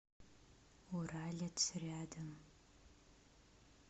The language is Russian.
уралец рядом